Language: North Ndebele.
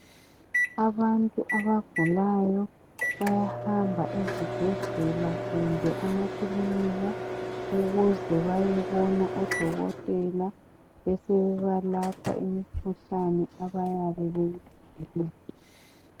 Abantu abagulayo bayahamba ezibhedlela kumbe emakilinika ukuze bayebona odokotela besebebalapha imikhuhlane abayabe beyigula.